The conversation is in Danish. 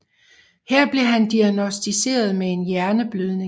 Her blev han diagnosticeret med en hjerneblødning